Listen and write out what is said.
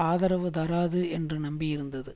ஆதரவு தராது என்று நம்பியிருந்தது